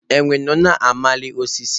Enwe nọ na-amali osisi.